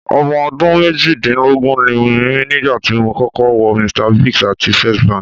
Ọmọ ọdún méjìdínlógún ni mí nígbà tí mo kọ́kọ́ wọ Mr Biggs àti First Bank.